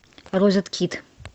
розеткед